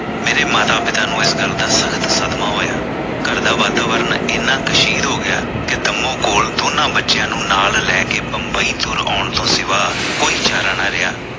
ਮੇਰੇ ਮਾਤਾ ਪਿਤਾ ਨੂੰ ਇਸ ਗੱਲ ਦਾ ਸਖਤ ਸਦਮਾ ਹੋਇਆ ਘਰ ਦਾ ਵਾਤਾਵਰਨ ਇੰਨਾਂ ਹੋ ਗਿਆ ਕਿ ਕੰਮੋ ਕੋਲ ਦੋਨਾਂ ਬੱਚਿਆਂ ਨੂੰ ਨਾਲ ਲੈ ਕੇ ਬੰਬਈ ਤੁਰ ਆਉਣ ਤੋਂ ਸਿਵਾ ਕੋਈ ਚਾਰਾ ਨਾ ਰਿਹਾ।